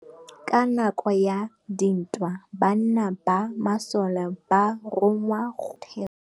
Ka nakô ya dintwa banna ba masole ba rongwa go tswa kwa mothêô.